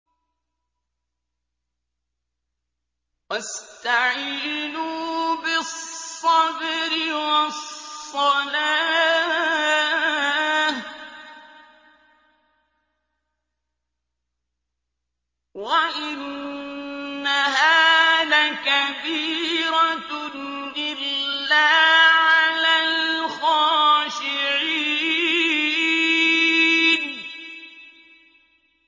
وَاسْتَعِينُوا بِالصَّبْرِ وَالصَّلَاةِ ۚ وَإِنَّهَا لَكَبِيرَةٌ إِلَّا عَلَى الْخَاشِعِينَ